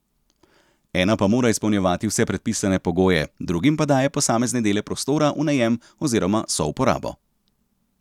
Ena pa mora izpolnjevati vse predpisane pogoje, drugim pa daje posamezne dele prostora v najem oziroma souporabo.